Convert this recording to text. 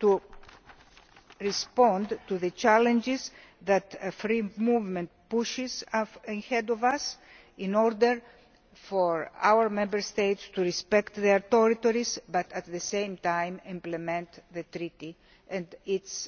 to respond to the challenges that free movement may pose in future in order for Member States to respect their authorities but, at the same time, implement the Treaty and